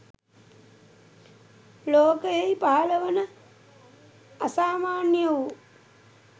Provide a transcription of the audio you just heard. ලෝකයෙහි පහළ වන අසමාන්‍ය වූ